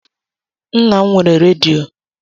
Nna m nwere redio.